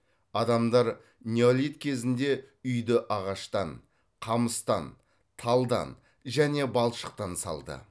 адамдар неолит кезінде үйді ағаштан қамыстан талдан және балшықтан салды